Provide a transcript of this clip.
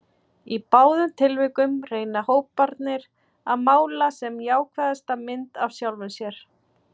Í báðum tilvikum reyna hóparnir að mála sem jákvæðasta mynd af sjálfum sér.